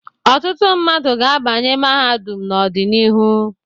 Ọtụtụ mmadụ ga-abanye mahadum n'ọdịnihu.